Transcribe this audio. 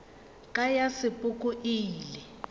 ka ya sepoko e ile